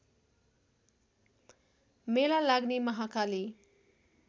मेला लाग्ने महाकाली